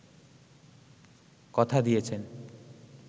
কথা দিয়েছেন